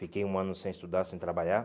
Fiquei um ano sem estudar, sem trabalhar.